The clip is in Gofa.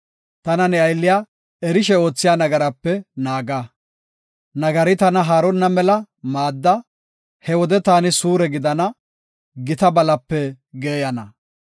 Tana ne aylliya, erishe oothiya nagarape naaga. Nagari tana haaronna mela maadda; he wode taani suure gidana, gita balape geeyana.